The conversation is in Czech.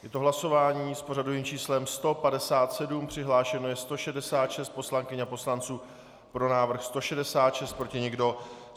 Je to hlasování s pořadovým číslem 157, přihlášeno je 166 poslankyň a poslanců, pro návrh 166, proti nikdo.